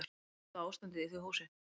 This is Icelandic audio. Ljóta ástandið í því húsi.